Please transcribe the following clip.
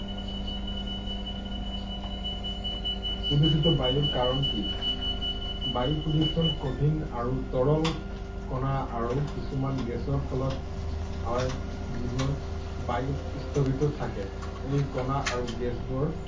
প্ৰদূষিত বায়ুৰ কাৰণ কি? বায়ু প্ৰদূষণ কঠিন আৰু তৰল কণা আৰু কিছুমান গেছৰ ফলত হয় যিবোৰ বায়ুত স্থগিত থাকে। এই কণা আৰু গেছবোৰ